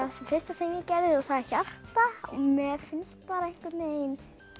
fyrsta sem ég gerði og það er hjarta mér finnst einhvern veginn